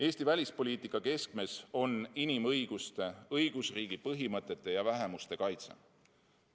Eesti välispoliitika keskmes on inimõiguste, õigusriigi põhimõtete ja vähemuste kaitse.